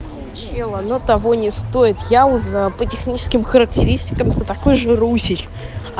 чем оно того не стоит яуза по техническим характеристикам такой же руси